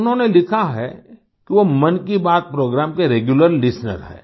उन्होंने लिखा है कि वो मन की बात प्रोग्राम के रेग्यूलर लिस्टेनर हैं